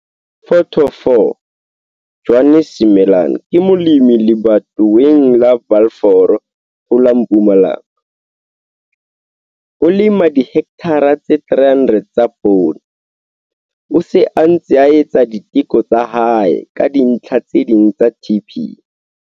Photo 4. Johannes Simelane ke molemi lebatoweng la Balfour ho la Mpumalanga, o lema dihekthara tse 300 tsa poone. O se a ntse a etsa diteko tsa hae ka dintlha tse ding tsa TP.